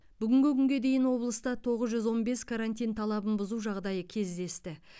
бүгінгі күнге дейін облыста тоғыз жүз он бес карантин талабын бұзу жағдайы кездесті